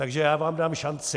Takže já vám dám šanci.